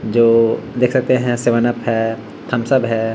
जो देख सकते है सेवन-अप है थम्स-अप है।